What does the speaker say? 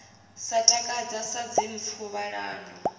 sa takadzi sa dzimpfu ṱhalano